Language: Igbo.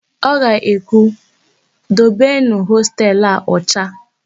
O ga-ekwu, "dobenụ hostelu a ọcha"!